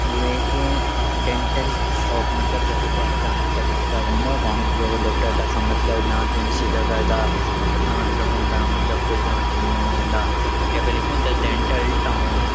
यु एके dental shop मतलब जखा क्या है दांतू का डॉक्टर रंदा दांत को डॉक्टर तखा मतलब दांत तुर्ण सीधा गड़दा अर दांत लगोंदा मतलब कोई दांत तुड़ोंणू औंदा यख लिख्युं द डेंटल टाउन ।